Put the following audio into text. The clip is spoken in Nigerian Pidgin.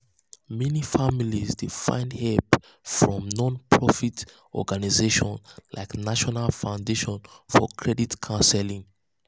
meni families dey find hep from non-profit organizations like national foundation for credit counseling.